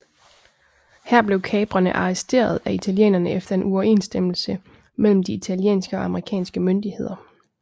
Her blev kaprerne arresteret af italienerne efter en uoverenstemmelse mellem de italienske og amerikanske myndigheder